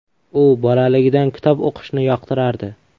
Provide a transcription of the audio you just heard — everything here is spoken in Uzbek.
U bolaligidan kitob o‘qishni yoqtirardi.